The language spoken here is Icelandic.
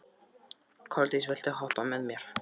Koldís, viltu hoppa með mér?